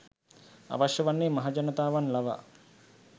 අවශ්‍ය වන්නේ මහජනතාවන් ලවා